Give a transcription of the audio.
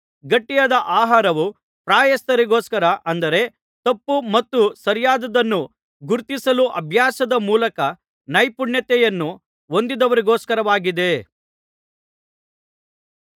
ಗಟ್ಟಿಯಾದ ಆಹಾರವು ಪ್ರಾಯಸ್ಥರಿಗೋಸ್ಕರ ಅಂದರೆ ತಪ್ಪು ಮತ್ತು ಸರಿಯಾದ್ದದನ್ನು ಗುರುತಿಸಲು ಅಭ್ಯಾಸದ ಮೂಲಕ ನೈಪುಣ್ಯತೆಯನ್ನು ಹೊಂದಿದವರಿಗೋಸ್ಕರವಾಗಿದೆ